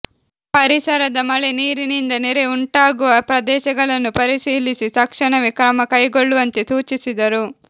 ಪರಿಸರದ ಮಳೆ ನೀರಿನಿಂದ ನೆರೆ ಉಂಟಾಗುವ ಪ್ರದೇಶಗಳನ್ನು ಪರಿಶೀಲಿಸಿ ತಕ್ಷಣವೇ ಕ್ರಮ ಕೈಗೊಳ್ಳುವಂತೆ ಸೂಚಿಸಿದರು